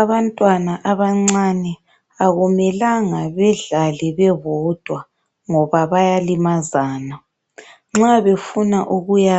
Abantwana abancane akumelanga bedlale bebodwa ngoba bayalimazana. Nxa befuna ukuya